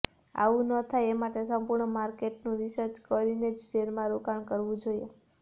આવુ ન થાય એ માટે સંપૂર્ણ માર્કેટનું રિસર્ચ કરીને જ શેરમાં રોકાણ કરવુ જોઈએ